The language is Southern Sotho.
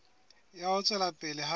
ya ho tswela pele ha